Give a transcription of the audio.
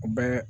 U bɛɛ